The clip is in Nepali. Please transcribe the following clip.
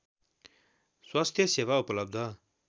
स्वास्थ्य सेवा उपलब्ध